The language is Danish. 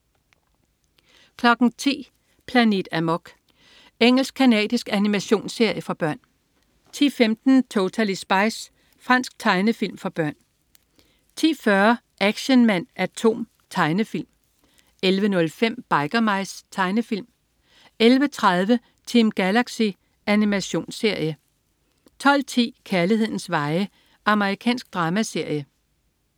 10.00 Planet Amok. Engelsk-canadisk animationsserie for børn 10.15 Totally Spies. Fransk tegnefilm for børn 10.40 Action Man A.T.O.M. Tegnefilm 11.05 Biker Mice. Tegnefilm 11.30 Team Galaxy. Animationsserie 12.10 Kærlighedens veje. Amerikansk dramaserie